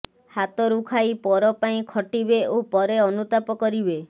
ହାତରୁ ଖାଇ ପର ପାଇଁ ଖଟିବେ ଓ ପରେ ଅନୁତାପ କରିବେ